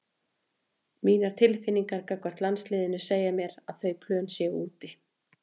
Mínar tilfinningar gagnvart landsliðinu segja mér að þau plön séu úti.